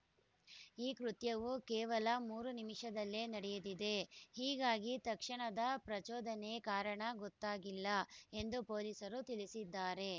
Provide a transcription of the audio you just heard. ಈ ಕೃತ್ಯವು ಕೇವಲ ಮೂರು ನಿಮಿಷದಲ್ಲೇ ನಡೆದಿದೆ ಈಗಾಗಿ ತಕ್ಷಣದ ಪ್ರಚೋದನೆ ಕಾರಣ ಗೊತ್ತಾಗಿಲ್ಲ ಎಂದು ಪೊಲೀಸರು ತಿಳಿಸಿದ್ದಾರೆ